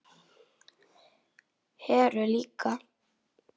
Heru líka.